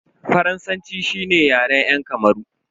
Faransanci shine Yaren yan Kamaru.